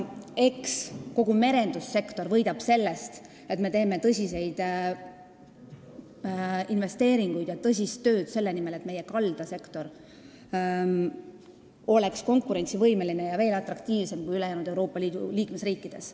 Eks kogu merendussektor võidab sellest, et me teeme suuri investeeringuid ja tõsist tööd selle nimel, et meie kaldasektor oleks konkurentsivõimeline ja veel atraktiivsem kui ülejäänud Euroopa Liidu riikide kaldasektor.